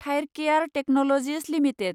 Thyrocare technologies limited